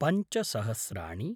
पञ्च सहस्राणि